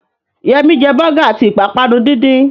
Yẹmí jẹ bọ́gà àti ìpápánu díndín